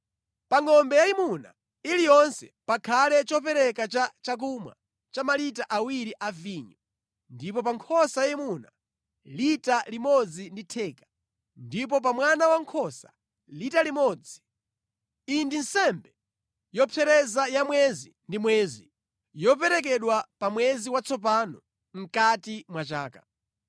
Pa ngʼombe yayimuna iliyonse pakhale chopereka cha chakumwa cha malita awiri a vinyo; ndipo pa nkhosa yayimuna, lita limodzi ndi theka, ndipo pa mwana wankhosa, lita limodzi. Iyi ndi nsembe yopsereza ya mwezi ndi mwezi yoperekedwa pa mwezi watsopano mʼkati mwa chaka.